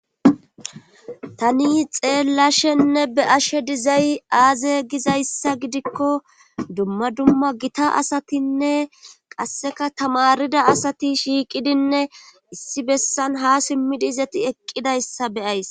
Tani xeellashenne be ashe dizay aaze gizayssa gidikko dumma dumma gita asatinne qasseka tamarida asati shiiqidinne issi bessan ha simmidi izati eqqidayssa beyays.